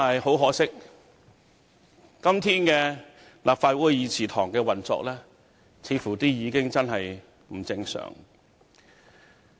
很可惜，今天立法會議事堂的運作，似乎真的不正常。